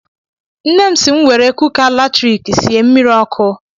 Nne m si m were kuka latriki sie mmiri ọkụ.